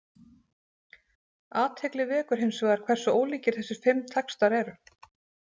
Athygli vekur hins vegar hversu ólíkir þessir fimm textar eru.